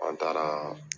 An taara